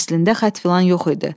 Əslində xətt filan yox idi.